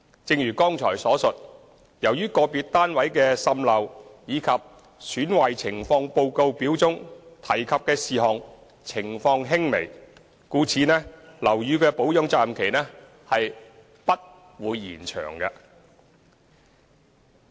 正如剛才所述，由於個別單位的滲漏及"損壞情況報告表"中提及的其他事項情況輕微，故樓宇的保養責任期不會延長。